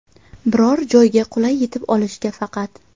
Biror joyga qulay yetib olishga faqat.